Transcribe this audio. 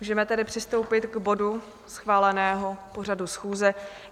Můžeme tedy přistoupit k bodu schváleného pořadu schůze.